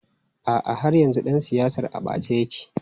A'a, har yanzu ɗan siyasar a ɓace yake.